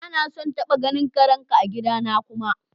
Ba na son taba ganin karen ka a'gida na kuma!